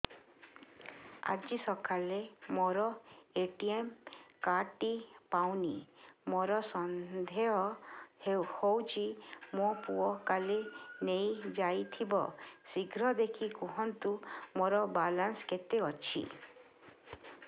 ଆଜି ସକାଳେ ମୋର ଏ.ଟି.ଏମ୍ କାର୍ଡ ଟି ପାଉନି ମୋର ସନ୍ଦେହ ହଉଚି ମୋ ପୁଅ କାଳେ ନେଇଯାଇଥିବ ଶୀଘ୍ର ଦେଖି କୁହନ୍ତୁ ମୋର ବାଲାନ୍ସ କେତେ ଅଛି